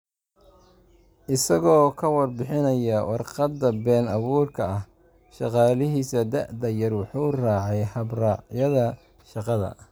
Isagoo ka warbixinaya warqadda been abuurka ah, shaqaalihiisa da'da yar wuxuu raacay hab-raacyada shaqada.